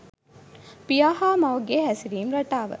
පියා හා මවගේ හැසිරීම් රටාව